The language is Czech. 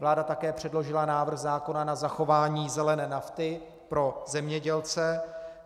Vláda také předložila návrh zákona na zachování zelené nafty pro zemědělce.